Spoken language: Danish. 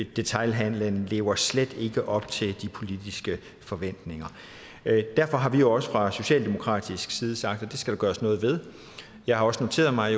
detailhandelen lever slet ikke op til de politiske forventninger derfor har vi også fra socialdemokratisk side sagt at det skal der gøres noget ved jeg har også noteret mig